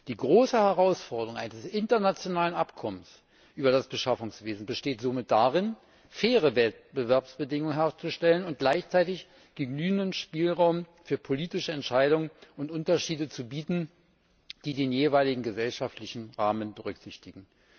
Die große Herausforderung eines internationalen Abkommens über das Beschaffungswesen besteht somit darin, faire Wettbewerbsbedingungen herzustellen und gleichzeitig genügenden Spielraum für politische Entscheidung und Unterschiede zu bieten, die den jeweiligen gesellschaftlichen Rahmen berücksichtigen.